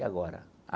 E agora?